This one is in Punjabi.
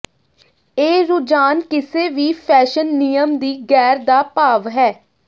ਇਹ ਰੁਝਾਨ ਕਿਸੇ ਵੀ ਫੈਸ਼ਨ ਨਿਯਮ ਦੀ ਗੈਰ ਦਾ ਭਾਵ ਹੈ